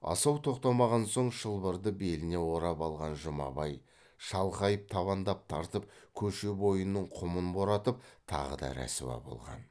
асау тоқтамаған соң шылбырды беліне орап алған жұмабай шалқайып табандап тартып көше бойының құмын боратып тағы да рәсуа болған